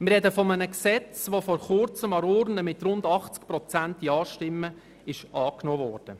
Wir sprechen von einem Gesetz, welches vor Kurzem an der Urne mit beinahe 80 Prozent Ja-Stimmen angenommen wurde.